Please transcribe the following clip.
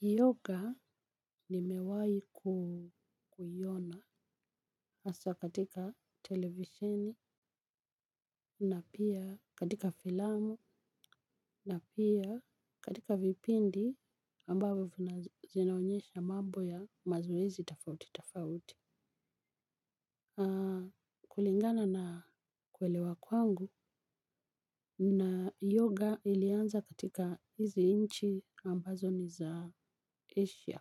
Yoga nimewahi kuiona hasa katika televisheni na pia katika filamu na pia katika vipindi ambavyo vinazinaonyesha mambo ya mazoezi tofauti tofauti. Kulingana na kuelewa kwangu, yoga ilianza katika hizi nchi ambazo ni za Asia.